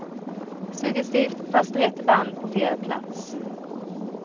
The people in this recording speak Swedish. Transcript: Suggestivt, fast rätt band på fel plats.